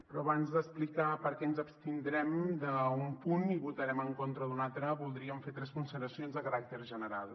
però abans d’explicar per què ens abstindrem en un punt i votarem en contra d’un altre voldríem fer tres consideracions de caràcter general